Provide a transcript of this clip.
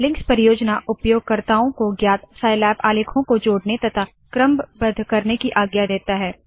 links परियोजना उपयोगकर्ताओं को ज्ञात साइलैब आलेखों को जोड़ने तथा क्रमबद्ध करने की आज्ञा देता है